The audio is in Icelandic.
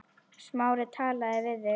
Smári talaði við þig?